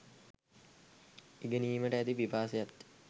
ඉගෙනීමට ඇති පිපාසයත්ය